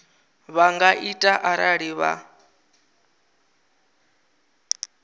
vha nga ita arali vha